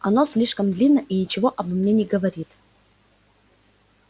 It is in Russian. оно слишком длинно и ничего обо мне не говорит